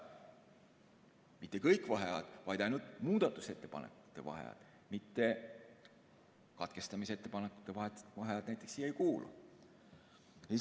Mitte kõik vaheajad, vaid ainult muudatusettepanekute vaheajad, katkestamisettepanekute vaheajad näiteks siia ei kuulu.